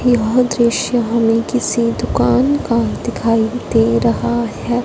यह दृश्य हमें किसी दुकान का दिखाई दे रहा है।